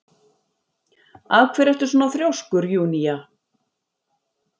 Af hverju ertu svona þrjóskur, Júnía?